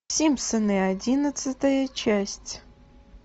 симпсоны одиннадцатая часть